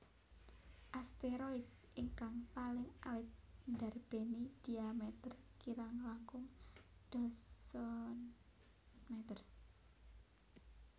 Asteroid ingkang paling alit ndarbéni dhiameter kirang langkung dasaan meter